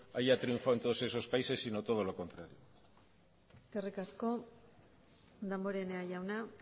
haya triunfado en todos esos países sino todo lo contrario eskerrik asko damborenea jauna